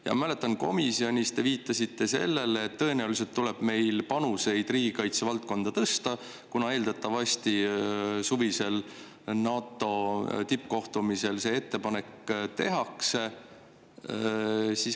Ma mäletan, et komisjonis te viitasite sellele, et tõenäoliselt tuleb meil panuseid riigikaitsevaldkonnas tõsta, kuna eeldatavasti suvisel NATO tippkohtumisel see ettepanek tehakse.